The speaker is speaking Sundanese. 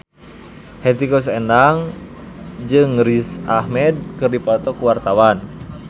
Hetty Koes Endang jeung Riz Ahmed keur dipoto ku wartawan